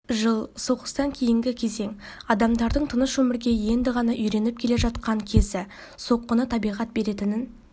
жыл соғыстан кейінгі кезең адамдардың тыныш өмірге енді ғана үйреніп келе жатқан кезі соққыны табиғат беретінін